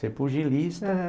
Ser pulgilista, né.